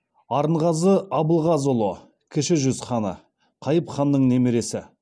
арынғазы абылғазыұлы кіші жүз ханы қайып ханның немересі